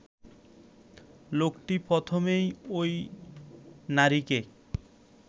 লোকটি প্রথমে ঐ নারীকে